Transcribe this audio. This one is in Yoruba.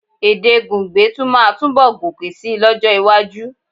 Èdè Gungbe tún máa túnbọ̀ gòkè síi lọ́jọ́-iwájú.